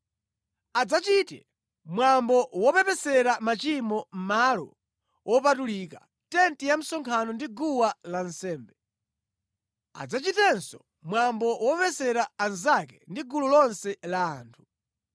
Adzachite mwambo wopepesera machimo Malo Wopatulika, tenti ya msonkhano ndi guwa lansembe. Adzachitenso mwambo wopepesera anzake ndi gulu lonse la anthu.